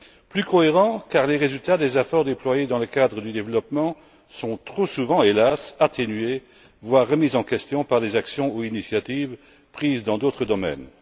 Plus cohérent, car les résultats des efforts déployés dans le cadre du développement sont, hélas, trop souvent atténués, voire remis en question par des actions ou initiatives prises dans d'autres domaines.